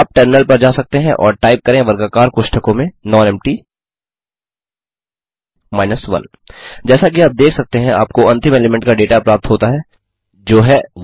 आप टर्मिनल पर जा सकते हैं और टाइप करें वर्गाकार कोष्ठकों में नॉनेम्पटी 1 जैसा कि आप देख सकते हैं आपको अंतिम एलीमेंट का डेटा प्राप्त होता है जो है 1234